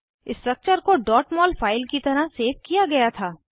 structure को mol file की तरह सेव किया गया था